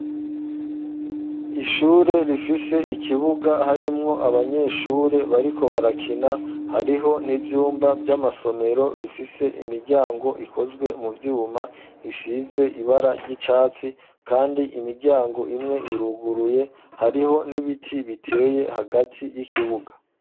Ishure rifise ikibuga harimwo abanyeshure bariko barakina, hariho n'ivyumba vy'amasomero bifise imiryango ikozwe mu vyuma isize ibara ry'icatsi, kandi imiryango imwe iruguruye hariho n'ibiti biteye hagati y'ikibuga.